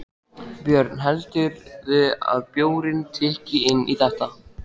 Björn: Heldurðu að bjórinn tikki inn í þetta?